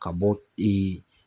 Ka bɔ ee